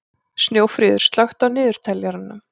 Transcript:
Snjófríður, slökktu á niðurteljaranum.